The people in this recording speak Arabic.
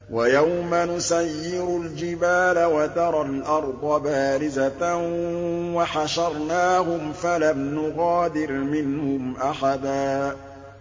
وَيَوْمَ نُسَيِّرُ الْجِبَالَ وَتَرَى الْأَرْضَ بَارِزَةً وَحَشَرْنَاهُمْ فَلَمْ نُغَادِرْ مِنْهُمْ أَحَدًا